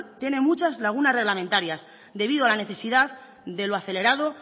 tiene muchas lagunas reglamentarias debido a la necesidad de lo acelerado